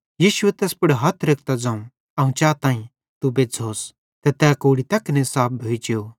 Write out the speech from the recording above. यीशुए तैस पुड़ हथ रेखतां ज़ोवं अवं चाताईं तू बज़्झ़ोस ते तै कोढ़ी तैखने साफ भोइ जेव